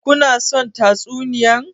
Ku na son tatsuniyan?